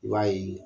I b'a ye